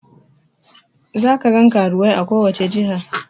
Za kagan karuwai a kowace jiha